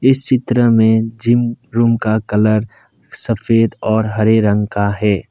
इस चित्र में जिम रूम का कलर सफेद और हरे रंग का है।